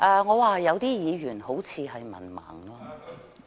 我說有些議員好像是文盲。